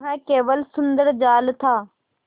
वह केवल सुंदर जाल था